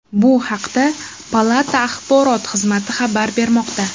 Bu haqda palata axborot xizmati xabar bermoqda .